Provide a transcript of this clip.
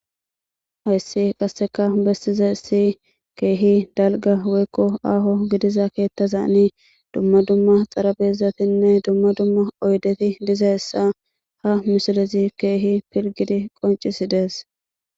Hayssi qasseka bessize si keehi dalga weykko aaho gidiza keettaza ani dumma dumma xarabezatinne dumma dumma oydeti diza essa ha misilizi keehi pilgidi qoncisi dees.